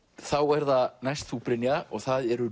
þá er það næst þú Brynja og það eru